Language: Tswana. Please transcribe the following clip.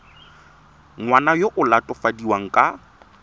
ngwana yo o latofadiwang ka